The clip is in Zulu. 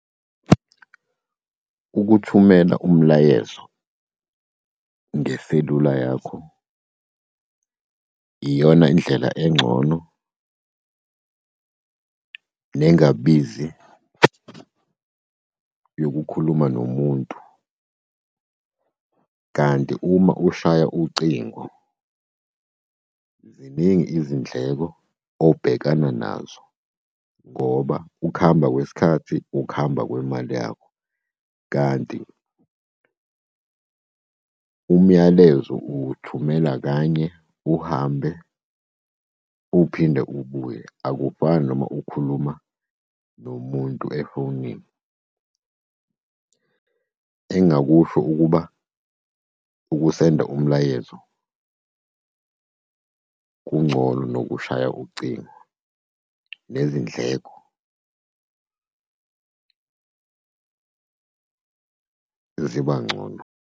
Ukuthumela umlayezo ngeselula yakho iyona indlela engcono nezingabizi yokukhuluma nomuntu, kanti uma ushaya ucingo ziningi izindleko obhekana nazo ngoba ukuhamba kwesikhathi ukuhamba kwemali yakho. Kanti umyalezo uwuthumela kanye uhambe uphinde ubuye, akufani noma ukhuluma nomuntu efonini. Engingakusho ukuba ukusenda umlayezo kungcono kunokushaya ucingo nezindleko ziba ngcono.